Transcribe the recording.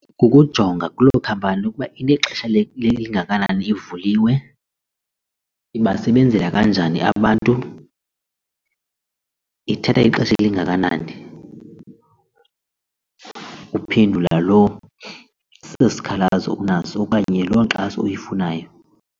Kukujonga kuloo khampani ukuba inexesha lingakanani ivuliwe, ibasebenzela kanjani abantu, ithatha ixesha elingakanani uphendula lo sikhalazo unaso okanye loo nkxaso uyifunayo.